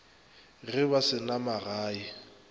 ge ba se na magae